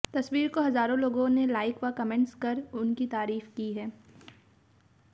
तस्वीर को हजारों लोगों ने लाइक व कमेंट्स कर उनकी तारीफ की है